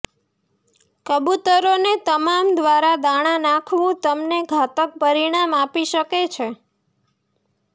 કબૂતરોને તમારા દ્વારા દાણા નાખવુ તમને ઘાતક પરિણામ આપી શકે છે